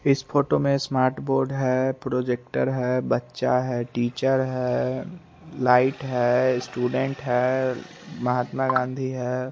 इस फोटो में smart board है प्रोजेक्टर है बच्चा है टीचर है लाइट है स्टूडेंट है महात्मा गाँधी है।